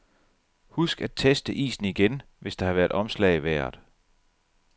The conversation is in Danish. Husk at teste isen igen, hvis der har været omslag i vejret.